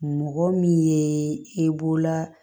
Mɔgɔ min ye e bolola